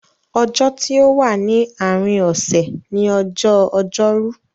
Ọjọ́ tí o wà ní àárín osè ni ọjọ́ Ojórú.